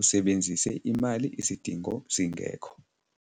usebenzise imali isidingo singekho.